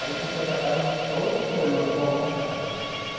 Aí quando você vai para casa, outro problema é voltar para casa.